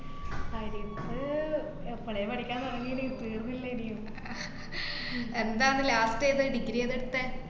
ഇപ്പോ ഏതാ degree ഏതാ എടുത്തെ?